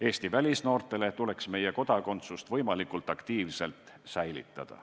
Eesti välisnoortele tuleks meie kodakondsust võimalikult aktiivselt säilitada.